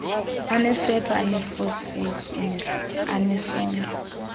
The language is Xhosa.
anesepha eneefosfeythi anesondlo